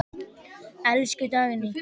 Elsku Dagný.